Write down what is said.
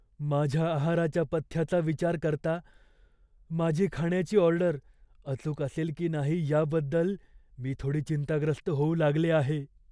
माझ्या आहाराच्या पथ्याचा विचार करता, माझी खाण्याची ऑर्डर अचूक असेल की नाही याबद्दल मी थोडी चिंताग्रस्त होऊ लागले आहे.